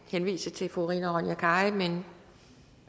henvise til fru rina ronja kari men